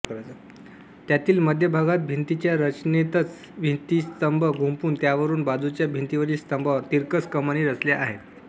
त्यांतील मध्यभागात भिंतीच्या रचनेतच भित्तिस्तंभ गुंफून त्यावरून बाजूच्या भिंतीवरील स्तंभावर तिरकस कमानी रचल्या आहेत